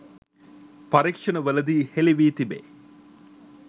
පරීක්‍ෂණවලදී හෙළිවී තිබේ.